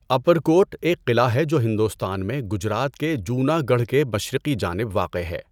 اوپرکوٹ ایک قلعہ ہے جو ہندوستان میں گجرات کے جوناگڑھ کے مشرقی جانب واقع ہے۔